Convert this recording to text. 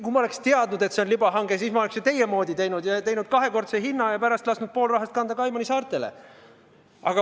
Kui ma oleksin teadnud, et see on libahange, siis ma oleks ju teie moodi teinud ja teinud kahekordse hinna ja pärast lasknud pool rahast kanda Kaimanisaartele.